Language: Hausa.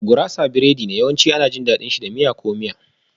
Gurasa biredi ne, yawanci ana jin daɗin miya ko miya.